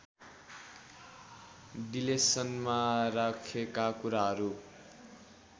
डिलेसनमा राखेका कुराहरू